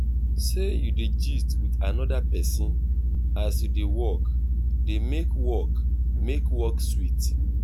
sey you dey gist with another person as you dey work dey make work make work sweet